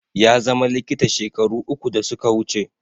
Ya zama likita shekaru uku da suka wuce